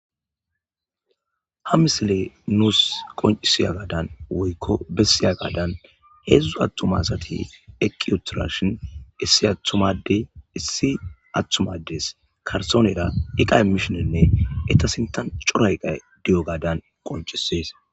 ha misile nuus qoncisiya gadan woykko bessiyagadan heedzdzu attuma asati eqi utidashin issi attuma adey issi attuma addes karttonera iqa imishenenne eta sinthan cora eqqay diyogadan qoncisees